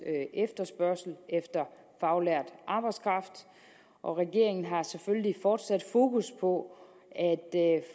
efterspørgsel efter faglært arbejdskraft og regeringen har selvfølgelig fortsat fokus på at